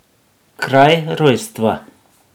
Kraj rojstva?